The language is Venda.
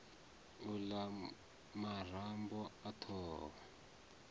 u la marambo a thoho